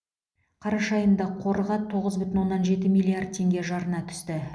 қараша айында қорға тоғыз бүтін оннан жеті миллиард теңге жарна түсті